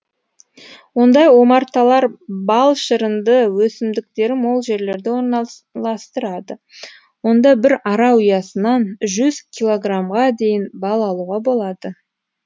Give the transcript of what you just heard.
ондай омарталар бал шырынды өсімдіктері мол жерлерде орналастырылады онда бір ара ұясынан жүз килограммға дейін бал алуға болады